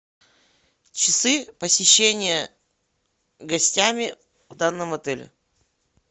часы посещения гостями в данном отеле